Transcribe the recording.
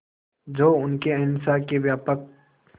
जो उनके अहिंसा के व्यापक